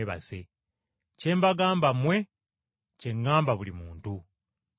Kye mbagamba mmwe, kye ŋŋamba buli muntu, mwekuume.”